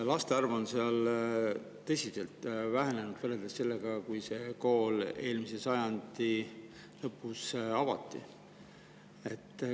Laste arv on seal tõsiselt vähenenud võrreldes selle ajaga, kui see kool seal eelmise sajandi lõpus avati.